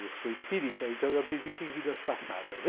Eu sou espírita, então eu acredito em vidas passadas.